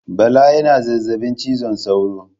Bala yana zazzabi cizon sauron